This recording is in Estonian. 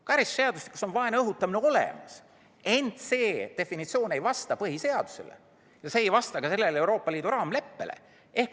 Karistusseadustikus on "vaenu õhutamine" olemas, ent selle definitsioon ei vasta põhiseadusele ja see ei vasta ka Euroopa Liidu raamleppele.